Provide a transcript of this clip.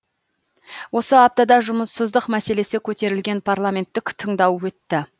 осы аптада жұмыссыздық мәселесі көтерілген парламенттік тыңдау өтті